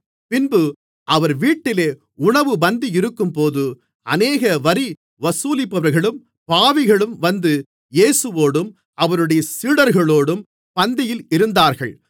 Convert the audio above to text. பின்பு அவர் வீட்டிலே உணவுப் பந்தியிருக்கும்போது அநேக வரி வசூலிப்பவர்களும் பாவிகளும் வந்து இயேசுவோடும் அவருடைய சீடர்களோடும் பந்தியில் இருந்தார்கள்